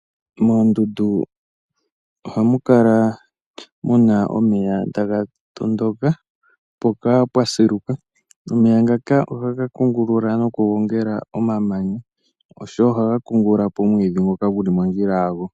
Moondundu ohamu kala muna omeya taga tondoka, mpoka pwasiluka. Omeya ngaka ohaga kungulula nokugongela omamanya oshowoo ohaga kungululapo omwiidhi ngoka guli mondjila yago.